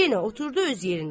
yenə oturdu öz yerində.